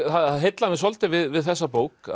það heillar mig svolítið við þessa bók